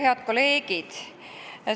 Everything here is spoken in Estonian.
Head kolleegid!